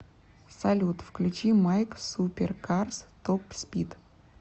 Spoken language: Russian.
салют включи майк суперкарс топспид